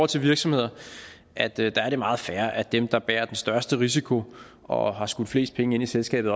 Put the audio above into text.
til virksomheder at det der er meget fair at det der bærer den største risiko og har skudt flest penge ind i selskabet